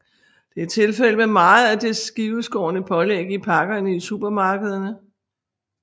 Det er tilfældet med meget af det skiveskårne pålæg i pakkerne i supermarkederne